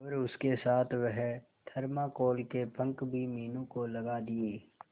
और उसके साथ वह थर्माकोल के पंख भी मीनू को लगा दिए